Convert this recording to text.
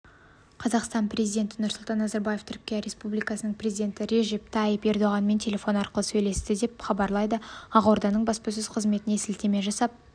қазақстан президенті нұрсұлтан назарбаев түркия республикасының президенті режеп тайип ердоғанмен телефон арқылы сөйлесті деп хабарлайды ақорданың баспасөз қызметіне сілтеме жасап